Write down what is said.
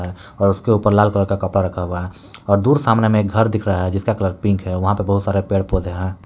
और उसके ऊपर लाल कलर का कपड़ा रखा हुआ है और दूर सामने में एक घर दिख रहा है जिसका कलर पिंक है वहां पर बहुत सारे पेड़ पौधे हैं।